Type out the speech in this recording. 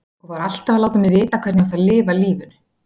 Og var alltaf að láta mig vita hvernig ég átti að lifa lífinu.